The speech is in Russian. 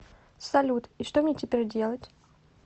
салют и что мне теперь делать